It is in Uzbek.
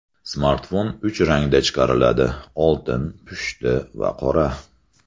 Smartfon uch rangda chiqariladi: oltin, pushti va qora.